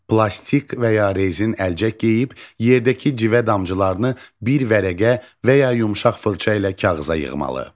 Plastik və ya rezin əlcək geyib yerdəki civə damcılarını bir vərəqə və ya yumşaq fırça ilə kağıza yığmalı.